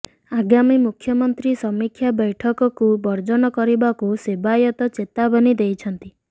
ଆଗାମୀ ମୁଖ୍ୟମନ୍ତ୍ରୀ ସମୀକ୍ଷା ବୈଠକକୁ ବର୍ଜନ କରିବାକୁ ସେବାୟତ ଚେତାବନୀ ଦେଇଛନ୍ତି